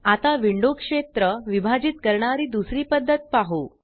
आता विंडो क्षेत्र विभाजित करणारी दुसरी पद्धत पाहु